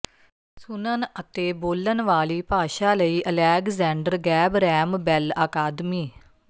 ਸੁਣਨ ਅਤੇ ਬੋਲਣ ਵਾਲੀ ਭਾਸ਼ਾ ਲਈ ਅਲੈਗਜੈਂਡਰ ਗੈਬਰੈਮ ਬੈੱਲ ਅਕਾਦਮੀ